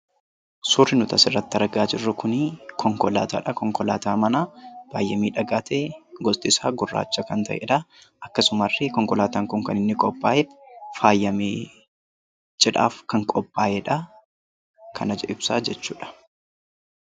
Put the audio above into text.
Suurri nuti asirratti argaa jirru Kun, konkolaataadha. Konkolaataa manaa baayyee miidhagaa ta'e, gosti isaa gurraacha kan ta'eedha. Akkasumas, konkolaataan Kun kan inni qophaa'e faayamee, cidhaaf kan qophaa'edha kana ibsaa jechuudha.